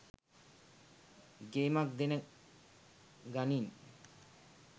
ගේමක් දෙන ගනින්